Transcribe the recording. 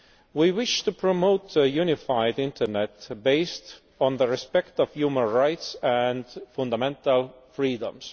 We wish to promote a unified internet based on the respect of human rights and fundamental freedoms.